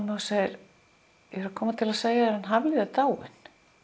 og segir ég er að koma til að segja þér að hann Hafliði er dáinn